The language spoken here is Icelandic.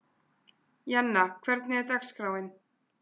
Jenna, hvernig er dagskráin?